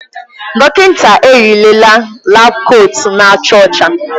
Dọkịta eyirila laabu kootu na-acha ọcha.